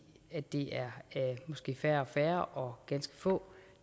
at det måske er færre og færre og ganske få